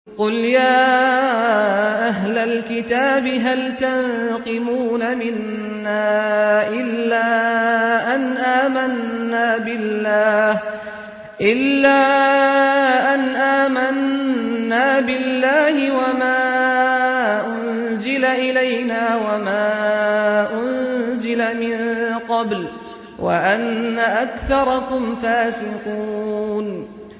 قُلْ يَا أَهْلَ الْكِتَابِ هَلْ تَنقِمُونَ مِنَّا إِلَّا أَنْ آمَنَّا بِاللَّهِ وَمَا أُنزِلَ إِلَيْنَا وَمَا أُنزِلَ مِن قَبْلُ وَأَنَّ أَكْثَرَكُمْ فَاسِقُونَ